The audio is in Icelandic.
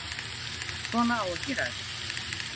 Svona á að gera þetta